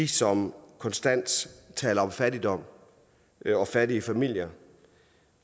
som konstant taler om fattigdom og fattige familier